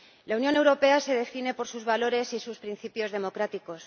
La Unión Europea se define por sus valores y sus principios democráticos.